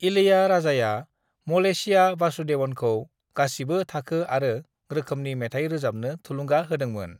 इलैयाराजाआ Malaysia वासुदेवनखौ गासिबो थाखो आरो रोखोमनि मेथाय रोजाबनो थुलुंगा होदोंमोन।